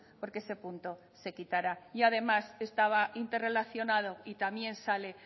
porque ese punto se quitara y además estaba interrelacionado y también sale